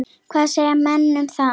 Hvað segja menn um það?